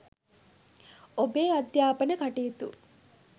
ඔබේ අධ්‍යාපන කටයුතු